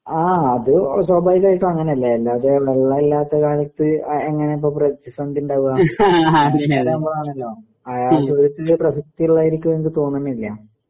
ആ അത് സ്വാഭാവികായിട്ടും അങ്ങനല്ലേ അല്ലാതെ വെള്ളവില്ലാത്തകാലത്ത് ആ അങ്ങനെപ്പം പ്രതിസന്ധി ഇണ്ടാവാ? ആ ചോദ്യത്തില് പ്രസക്തി ഇള്ളതായെനിക്ക് തോന്നണില്ല.